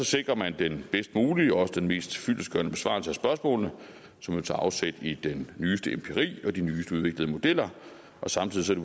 sikrer man den bedst mulige og mest fyldestgørende besvarelse af spørgsmålene som jo tager afsæt i den nyeste empiri og de nyest udviklede modeller samtidig